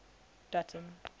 dutton